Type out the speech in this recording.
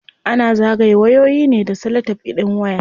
Ana zagaye wayoyi ne da salatef din waya.